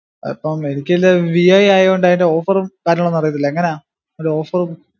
അപ്പം എനിക്കില്ലേ ഈ വി ഐ ആയോണ്ട് അയിൻറ്റ offer ഉം കാര്യങ്ങളൊന്നും അറീത്തില്ല എങ്ങനാ അത് offer ഉം